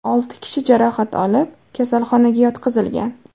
Olti kishi jarohat olib, kasalxonaga yotqizilgan.